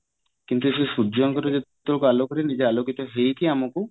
କିନ୍ତୁ ସେ ସୂର୍ଯ୍ୟଙ୍କର ଯେତେକ ଆଲୋକରେ ନିଜେ ଆଲୋକିତ ହେଇକି ଆମକୁ